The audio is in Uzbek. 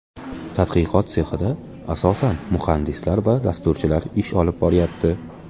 Tadqiqot sexida asosan muhandislar va dasturchilar ish olib boryapti.